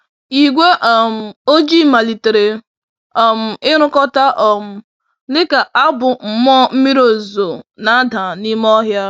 Igwe um ojii malitere um irukọta um dịka abụ mmụọ mmiri ozuzo na-ada n'ime ọhịa.